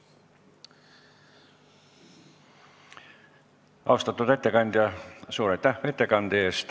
Austatud ettekandja, suur aitäh ettekande eest!